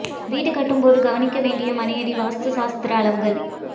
வீடு கட்டும் போது கவனிக்க வேண்டிய மனையடி வாஸ்து சாஸ்திர அளவுகள்